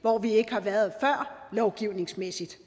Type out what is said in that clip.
hvor vi ikke har været før lovgivningsmæssigt